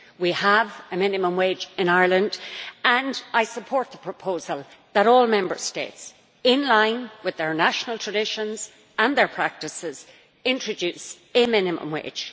We have a minimum wage in Ireland and I support the proposal that all Member States, in line with their national traditions and their practices, introduce a minimum wage.